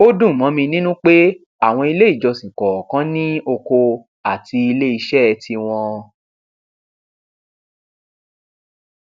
ó dùn mọ mi nínú pé àwọn ilé ìjọsìn kọọkan ní oko àti ilé iṣẹ tiwọn